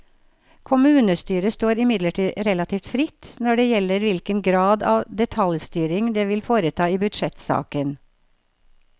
Kommunestyret står imidlertid relativt fritt når det gjelder hvilken grad av detaljstyring det vil foreta i budsjettsaken.